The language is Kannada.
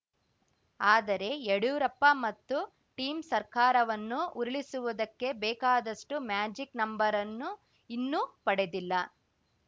ಆದರೆ ಯಡಿಯೂರಪ್ಪ ಮತ್ತು ಟೀಂ ಸರ್ಕಾರವನ್ನು ಉರುಳಿಸುವುದಕ್ಕೆ ಬೇಕಾದಷ್ಟುಮ್ಯಾಜಿಕ್‌ ನಂಬರನ್ನು ಇನ್ನೂ ಪಡೆದಿಲ್ಲ